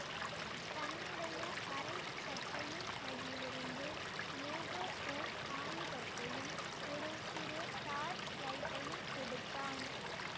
தன்னுடைய அரை சட்டையின் பையிலிருந்து ஏதோ ஓர் ஆயுதத்தையும் ஒரு சிறு டார்ச் லைட்டையும் எடுத்தான்